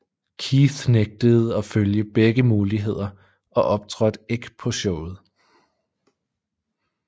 Keith nægtede at følge begge muligheder og optrådte ikke på showet